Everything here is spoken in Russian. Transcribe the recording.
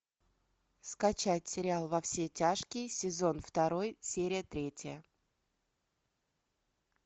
скачать сериал во все тяжкие сезон второй серия третья